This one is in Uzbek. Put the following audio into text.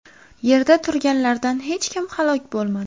Yerda turganlardan hech kim halok bo‘lmadi.